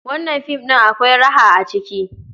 Wannan film ɗin akwai raha a ciki?